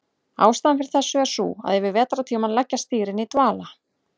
Ástæðan fyrir þessu er sú að yfir vetrartímann leggjast dýrin í dvala.